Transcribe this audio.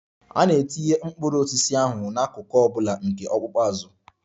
A na-etinye mkpụrụ osisi ahụ n'akụkụ ọ bụla nke ọkpụkpụ azụ.